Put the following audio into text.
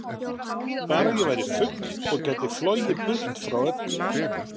Bara að ég væri fugl og gæti flogið burt frá öllu.